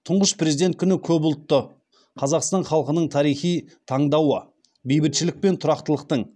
тұңғыш президент күні көпұлтты қазақстан халқының тарихи таңдауы бейбітшілік пен тұрақтылықтың